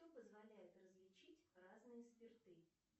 что позволяет различить разные спирты